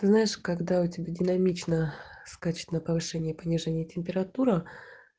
ты знаешь когда у тебя динамично скачет на повышение и понижение температура